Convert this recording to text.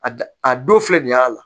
A da a don filɛ nin y'a la